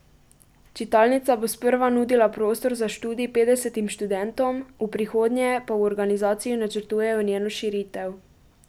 Čitalnica bo sprva nudila prostor za študij petdesetim študentom, v prihodnje pa v organizaciji načrtujejo njeno širitev.